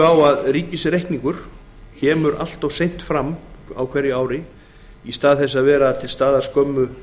á að ríkisreikningur kemur allt of seint fram ár hvert í stað þess að vera til staðar skömmu